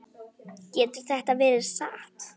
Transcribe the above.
Getur þetta verið satt?